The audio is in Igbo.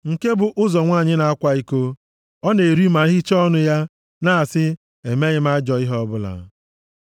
“Nke bụ ụzọ nwanyị na-akwa iko, Ọ na-eri ma hichaa ọnụ ya, na-asị, ‘E meghị m ajọ ihe ọbụla.’